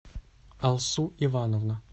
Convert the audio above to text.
алсу ивановна